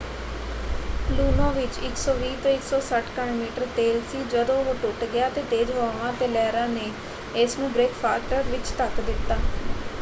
Luno ਵਿੱਚ 120-160 ਘਣ metre ਤੇਲ ਸੀ ਜਦੋਂ ਉਹ ਟੁੱਟ ਗਿਆ ਅਤੇ ਤੇਜ਼ ਹਵਾਵਾਂ ਅਤੇ ਲਹਿਰਾਂ ਨੇ ਇਸਨੂੰ ਬ੍ਰੇਕਵਾਟਰ ਵਿੱਚ ਧੱਕ ਦਿੱਤਾ।